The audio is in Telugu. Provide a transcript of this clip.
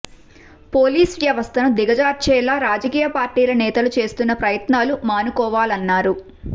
పోలీస్ వ్యవస్థను దిగజార్చేలా రాజకీయ పార్టీల నేతలు చేస్తున్న ప్రయత్నాలు మానుకోవాలన్నారు